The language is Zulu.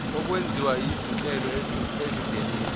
okwenziwa izinhlelo ezingenisa